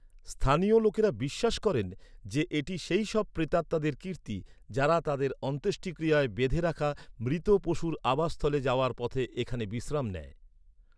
স্থানীয় লোকেরা বিশ্বাস করেন যে, এটি সেইসব প্রেতাত্মাদের কীর্তি যারা তাদের অন্ত্যেষ্টিক্রিয়ায় বেঁধে রাখা মৃত পশুর আবাসস্থলে যাওয়ার পথে এখানে বিশ্রাম নেয়।